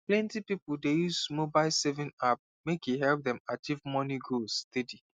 plenty people dey use mobile saving app make e help them achieve money goals steady